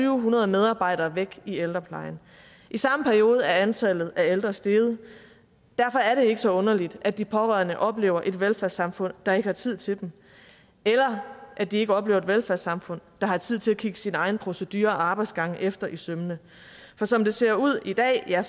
hundrede medarbejdere væk i ældreplejen i samme periode er antallet af ældre steget derfor er det ikke så underligt at de pårørende oplever et velfærdssamfund der ikke har tid til dem eller at de ikke oplever et velfærdssamfund der har tid til at kigge sine egne procedurer og arbejdsgange efter i sømmene for som det ser ud i dag er